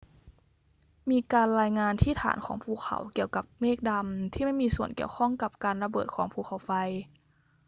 มีการรายงานที่ฐานของภูเขาเกี่ยวกับเมฆดำที่ไม่มีส่วนเกี่ยวข้องกับการระเบิดของภูเขาไฟ